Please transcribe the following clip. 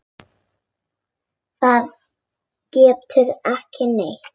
Það gerðist ekki neitt.